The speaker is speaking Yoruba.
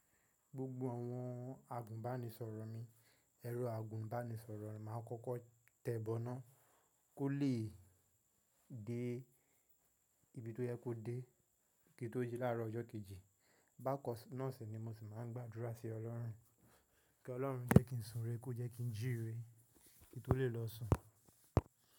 Gbogbo àwọn agùnbánisọ̀rọ̀ mi, ẹ̀rọ agùnbánisọ̀rọ̀ máa kọ́kọ́ tẹ̀bọ́ná kó le dé ibi tó yẹ kó dé kí n tó jí láárọ̀ ọjọ́ kejì. Bákan náà sì ni mo sì máa ń gbàdúrà sí Ọlọ́run, kí Ọlọ́run jẹ́ kí n sunre, kó jẹ́ kí n jìre kí n tó lè lọ sùn.